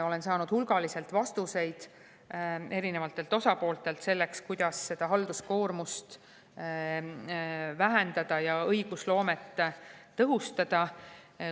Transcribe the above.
Olen saanud hulgaliselt vastuseid erinevatelt osapooltelt selleks, kuidas halduskoormust vähendada ja õigusloomet tõhustada.